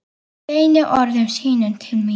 Beinir orðum sínum til mín.